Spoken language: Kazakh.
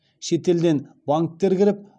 шетелден банктер кіріп